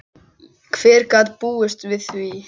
Hver gat búist við því?